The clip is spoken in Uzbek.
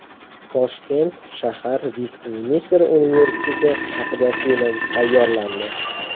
Toshkent shahar Vestminster universiteti haqida film tayyorlandi.